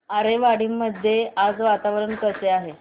आरेवाडी मध्ये आज वातावरण कसे आहे